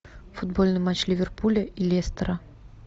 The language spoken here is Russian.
футбольный матч ливерпуля и лестера